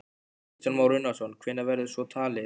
Kristján Már Unnarsson: Hvenær verður svo talið?